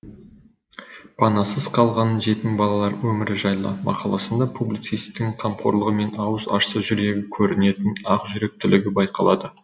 панасыз қалған жетім балалар өмірі жайлы мақаласында публицистің қамқорлығы мен аузын ашса жүрегі көрінетін ақжүректілігі байқалады